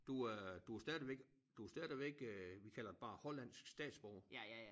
Du er du stadigvæk du stadigvæk øh vi kalder det bare hollandsk statsborger